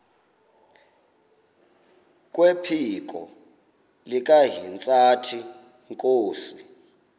kwephiko likahintsathi inkosi